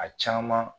A caman